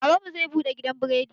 Baban mu zai buɗe gidan biredi.